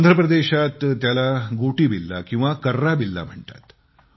आंध्रप्रदेशात त्याला गोटीबिल्ला किंवा कर्राबिल्ला म्हणतात